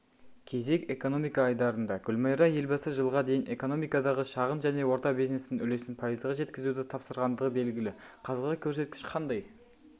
кезек экономика айдарында гүлмайра елбасы жылға дейін экономикадағы шағын және орта бизнестің үлесін пайызға жеткізуді тапсырғандығы белігі қазіргі көрсеткіш қандай